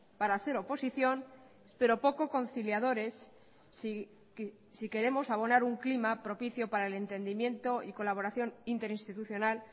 para hacer oposición pero poco conciliadores si queremos abonar un clima propicio para el entendimiento y colaboración interinstitucional